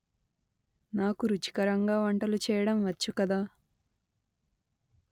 నాకు రుచికరంగా వంటలు చేయడం వచ్చు కదా